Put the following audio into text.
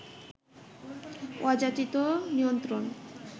অযাচিত নিয়ন্ত্রণ